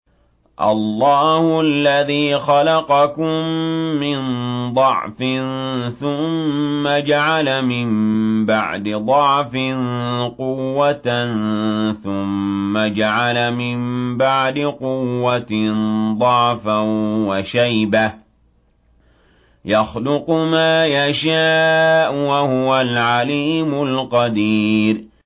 ۞ اللَّهُ الَّذِي خَلَقَكُم مِّن ضَعْفٍ ثُمَّ جَعَلَ مِن بَعْدِ ضَعْفٍ قُوَّةً ثُمَّ جَعَلَ مِن بَعْدِ قُوَّةٍ ضَعْفًا وَشَيْبَةً ۚ يَخْلُقُ مَا يَشَاءُ ۖ وَهُوَ الْعَلِيمُ الْقَدِيرُ